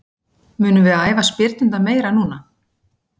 Munum við æfa spyrnurnar meira núna?